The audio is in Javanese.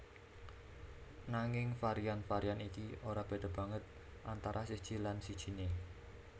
Nanging varian varian iki ora béda banget antara siji lan sijiné